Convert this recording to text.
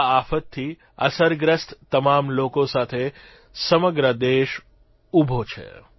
આ આફતથી અસરગ્રસ્ત તમામ લોકો સાથે સમગ્ર દેશ ઉભો છે